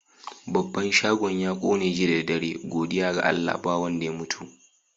Babban shagon ya ƙone jiya da dare. Godiya ga Allah ba wanda ya mutu.